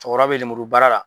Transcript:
Cɔkɔrɔba be lemuru baara la